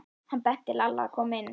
Hann benti Lalla að koma inn.